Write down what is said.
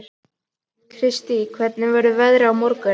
Kristine, hvernig verður veðrið á morgun?